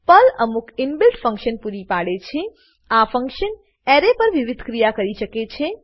Perl અમુક inbuilt function પૂરી પાડે છે આ ફંક્શન એરે પર વિવિધ ક્રિયા કરી શકે છે